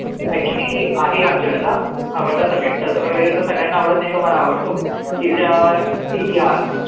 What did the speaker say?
actually आहे म्हणजे माझा आवडता subject तस बघायला गेलं त सगळ्यांना आवडत नाही तो मला आवडतो इतिहास